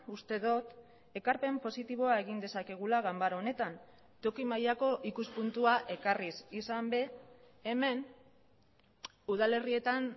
uste dut ekarpen positiboa egin dezakegula ganbara honetan toki mailako ikuspuntua ekarriz izan ere hemen udalerrietan